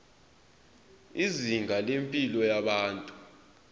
izinga lempilo yabantu